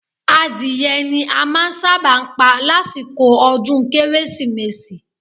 Adìrẹ ni a máa ń sábà ń pa lásìkò ọdún Kérésìmesì